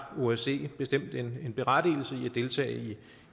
osce bestemt en berettigelse i at deltage